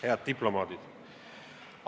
Head diplomaadid!